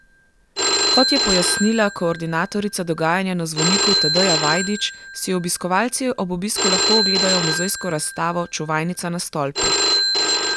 Kot je pojasnila koordinatorica dogajanja na zvoniku Tadeja Vajdič, si obiskovalci ob obisku lahko ogledajo muzejsko razstavo Čuvajnica na stolpu.